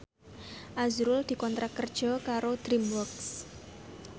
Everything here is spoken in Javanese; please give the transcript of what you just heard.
azrul dikontrak kerja karo DreamWorks